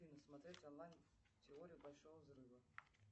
афина смотреть онлайн теорию большого взрыва